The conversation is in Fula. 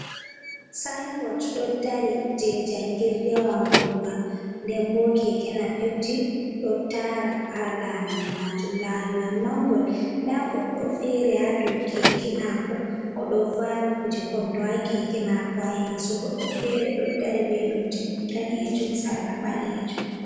Sayin bot ɗo dari je jangirdewa ngonga. Ndenbo Keke Napepji ɗo tara ha lawol majum, lawol majum mangol. Nda godɗo fere ha dou Keke mako, oɗo vawi kuje kondo ha Keke maako.ha yeso goddo fere ɗo dari be lumse danejum sarla ɓalejum.